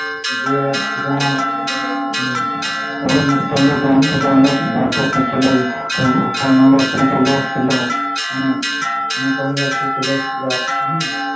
যে যা বড় যাত্রী ছেলে কন্যা যাত্রী ছেলে এসেছিলো মানে কন্যা যাত্রী ছেলে এসেছিল